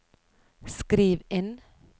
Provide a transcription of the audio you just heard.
skriv inn